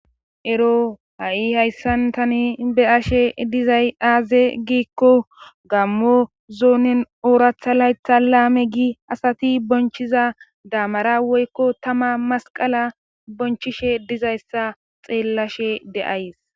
ero ha7i hayssan tani beyashe dizay aaze giikko gammo zuunin ooratha laytha laame gi asati bonchiza daamara woykko tama masqala bonchishe dizayssa xeellashe de7ays